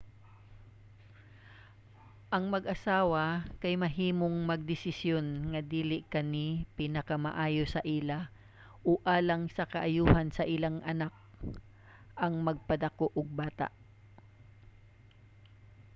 ang mag-asawa kay mahimong magdesisyon nga dili kani pinakamaayo sa ila o alang sa kaayohan sa ilang anak ang magpadako og bata